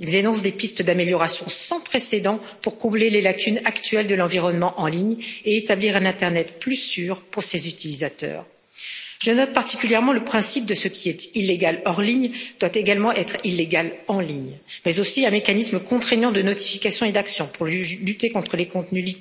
Ils énoncent des pistes d'amélioration sans précédent pour combler les lacunes actuelles de l'environnement en ligne et établir un internet plus sûr pour ses utilisateurs. Je note particulièrement le principe selon lequel ce qui est illégal hors ligne doit également être illégal en ligne, mais aussi un mécanisme contraignant de notification et d'action pour lutter contre les contenus